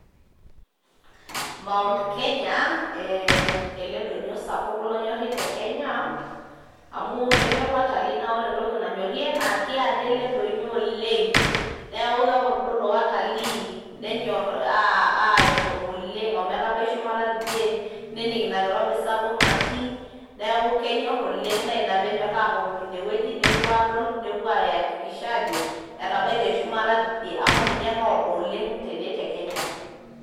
Mount Kenya ee ele donyo sapuk lonyorri te Kenya amu kenyorr watalii, naa ore entoki nanyorie naa keado ele donyo oleng' neeku kepordolo watalii nenyor ashom oleng' ometabai shumata tidie, nening' ina kirobi sapuk natii. Neeku kenyor oleng' naa ina peenyor ashom ine wueji nepuo adol nepuo aiakikisha ajo etabaitie shumata tidie amu ninye loodo oleng' tene te Kenya.